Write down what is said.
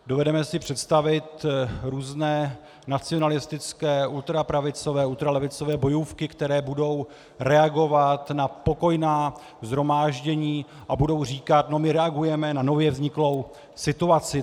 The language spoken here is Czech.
Dovedeme si představit různé nacionalistické, ultrapravicové, ultralevicové bojůvky, které budou reagovat na pokojná shromáždění a budou říkat: no my reagujeme na nově vzniklou situaci.